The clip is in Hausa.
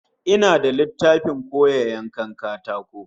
Ina da littafin koya yanka katako